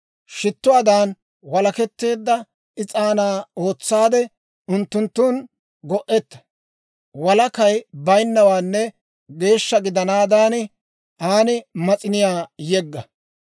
Shittuwaadan walaketteedda is'aanaa ootsaade, unttunttun go'etta; walakay baynnawaanne geeshsha gidanaadan, an mas'iniyaa yegga.